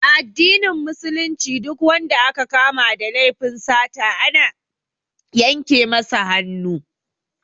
A addinin Musulunci Duk wanda aka kama da laifin sata ana yanke masa hannu